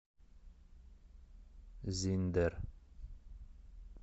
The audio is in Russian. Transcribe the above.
зиндер